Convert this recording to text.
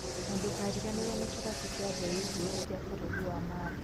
Na ndũkariganĩrwo nĩ kĩrabu kĩa The Eagles kia bũrũri wa Mal